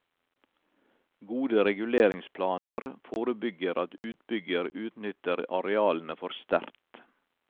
Gode reguleringsplaner forebygger at utbygger utnytter arealene for sterkt.